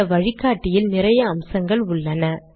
இந்த வழிகாட்டியில் நிறைய அம்சங்கள் உள்ளன